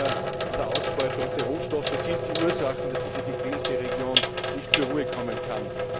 Chinas an der Ausbeutung der Rohstoffe sind die Ursachen, dass diese gequälte Region nicht zur Ruhe kommen kann.